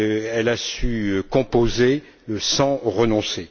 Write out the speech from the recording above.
Elle a su composer sans renoncer.